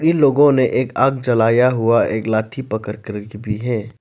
लोगों ने एक आग जलाया हुआ एक लाठी पकड़कर के भी है।